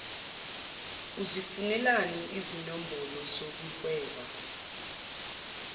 uzifunelani izinombholo zokuhweba